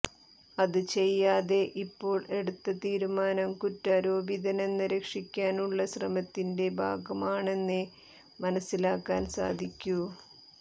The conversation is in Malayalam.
അത് ചെയ്യാതെ ഇപ്പോൾ എടുത്ത തീരുമാനം കുറ്റാരോപിതനെ രക്ഷിക്കാനുള്ള ശ്രമത്തിന്റെ ഭാഗമാണെന്നേ മനസിലാക്കാൻ സാധിക്കൂ